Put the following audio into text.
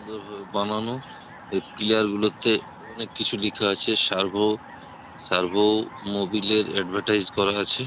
বানানো এই পিলার গুলোতে অনেক কিছু লেখা আছে সার্ভো সার্ভো মবিলের এডভেটাইস করা আছে ।